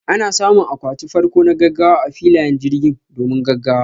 Ana samun akwati farko na gaggawa a filayen jirgin, domin gaggawa.